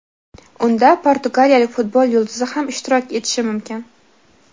Unda portugaliyalik futbol yulduzi ham ishtirok etishi mumkin.